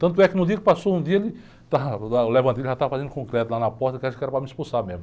Tanto é que no dia que passou, um dia ele, já estava fazendo concreto lá na porta, que eu acho que era para me expulsar mesmo.